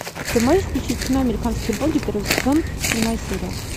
ты можешь включить кино американские боги первый сезон седьмая серия